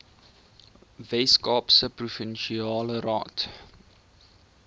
weskaapse provinsiale raad